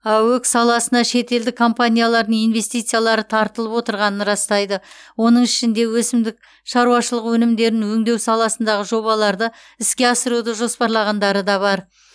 аөк саласына шетелдік компаниялардың инвестициялары тартылып отырғанын растайды оның ішінде өсімдік шаруашылығы өнімдерін өңдеу саласындағы жобаларды іске асыруды жоспарлағандары да бар